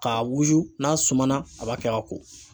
K'a wusu n'a suma na a b'a kɛ ka ko.